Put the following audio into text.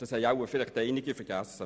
Das haben wohl einige vergessen.